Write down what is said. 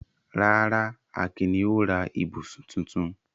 Rárá, Akin ni ó ra ibùsùn tuntun.